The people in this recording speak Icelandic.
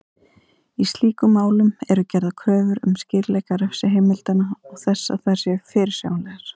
Í slíkum málum eru gerðar kröfur um skýrleika refsiheimilda og þess að þær séu fyrirsjáanlegar.